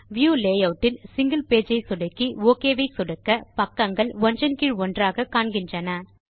view layout ல் single page ஐ சொடுக்கி ஒக் ஐ சொடுக்க பக்கங்கள் ஒன்றன் கீழ் ஒன்றாக காண்கின்றன